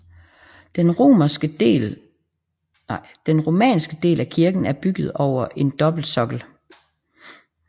Den romanske del af kirken er bygget over en dobbeltsokkel